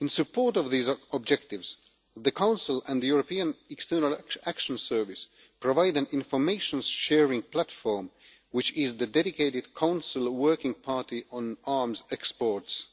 In support of these objectives, the Council and the European External Action Service provide an information sharing platform which is the dedicated Council working party on arms exports,